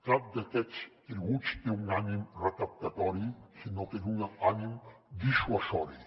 cap d’aquests tributs té un ànim recaptatori sinó que és un ànim dissuasiu